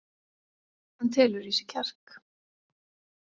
Hann telur í sig kjark.